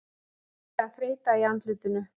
Greinileg þreyta í andlitinu.